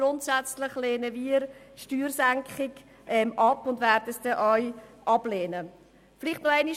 Grundsätzlich jedoch lehnen wir Steuersenkungen ab und werden es auch in diesem Fall tun.